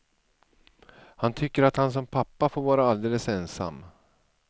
Han tycker att han som pappa får vara alldeles ensam.